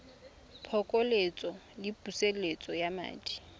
phokoletso le pusetso ya madi